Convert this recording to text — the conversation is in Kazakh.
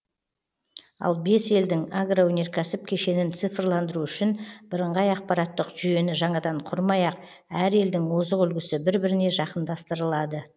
ал бес елдің агроөнеркәсіп кешенін цифрландыру үшін бірыңғай ақпараттық жүйені жаңадан құрмай ақ әр елдің озық үлгісі бір біріне жақындастырылады